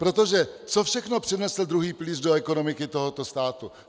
Protože co všechno přinesl druhý pilíř do ekonomiky tohoto státu?